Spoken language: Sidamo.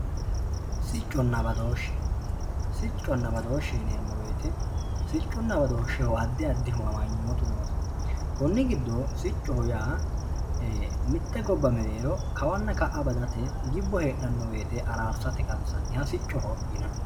sicconna badooshshe sicconna badooshshe yineemmo woyiite sicconna badooshsheho addi addihu badooshshu noosi kunni giddo siccoho yaa mitte gobba mereero kawanna ka'a badate gibbo heedhanno woyte araarsate qansanniha siccoho yinanni.